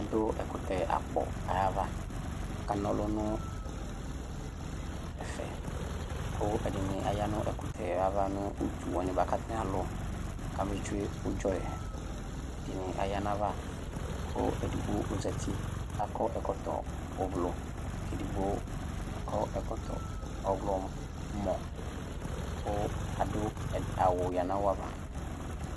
adʋ ɛkʋtɛ akɔ ayava akana ɔlʋnʋ ɛƒɛ kʋ edini aya nʋ ɛkʋtɛ ava nʋ ʋtʋwa katani alʋ kame tsʋe ʋdzɔyɛ ɛdini aya nayava kʋ edigbo ozati kʋ akɔ ɛkɔtɔ ʋblɔ kɛdigbo akɔ ɛkɔtɔ ɔɣlɔmɔ kʋ adʋ awʋ yadʋ nayava